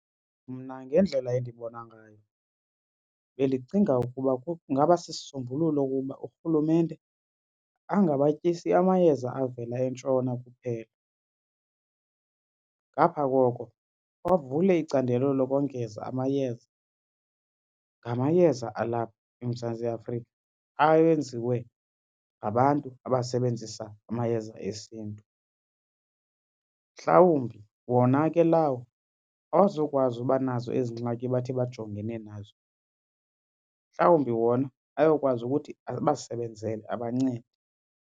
Mna ngendlela endibona ngayo bendicinga ukuba kungaba sisisombululo ukuba uRhulumente angabatyisi amayeza avela eNtshona kuphela. Ngapha koko avule icandelo lokongeza amayeza ngamayeza alapha eMzantsi Afrika awenziwe ngabantu abasebenzisa amayeza esiNtu. Mhlawumbi wona ke lawo awazukwazi uba nazo ezingxakini bathi bajongene nazo, mhlawumbi wona ayokwazi ukuthi abasebenzele abancede.